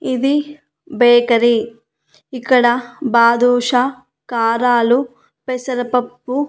ఇది బేకరీ ఇక్కడ బాదుషా కారాలు పెసరపప్పు--